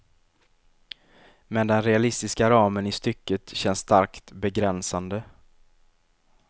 Men den realistiska ramen i stycket känns starkt begränsande.